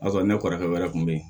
O y'a sɔrɔ ne kɔrɔkɛ wɛrɛ kun be yen